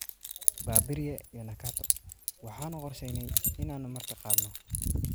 Babirye iyo Nakato; Waxaanu qorshaynay inaanu martiqaadno 600 oo qof balse tiradu intaas way dhaaftay.